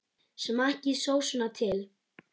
Smakkið sósuna til.